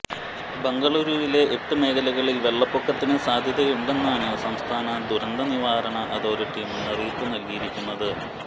ബെംഗളൂരുവിലെ എട്ട് മേഖലകളിൽ വെള്ളപ്പൊക്കത്തിന് സാദ്ധതയുണ്ടെന്നാണ് സംസ്ഥാന ദുരന്ത നിവാരണ അതോറിറ്റി മുന്നറിയിപ്പ് നൽകിയിരിക്കുന്നത്